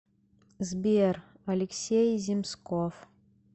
сбер алексей земсков